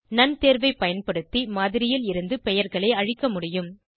known தேர்வை பயன்படுத்தி மாதிரியில் இருந்து பெயர்களை அழிக்க முடியும்